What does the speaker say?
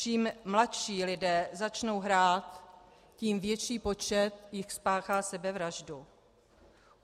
Čím mladší lidé začnou hrát, tím větší počet jich spáchá sebevraždu.